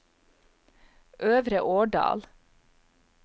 Øvre Årdal